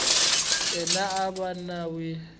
yena a va n wi